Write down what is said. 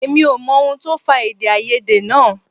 Èmi ò mọ ohun tó fà èdèàìyedè náà